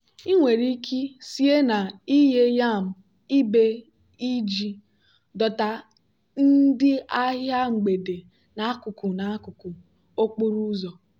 ị nwere ike sie na ighe yam ibe iji dọta ndị ahịa mgbede n'akụkụ n'akụkụ okporo ụzọ.